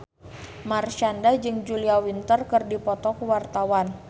Marshanda jeung Julia Winter keur dipoto ku wartawan